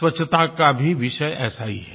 स्वच्छता का भी विषय ऐसा ही है